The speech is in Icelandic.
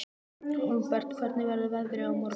Hólmbert, hvernig verður veðrið á morgun?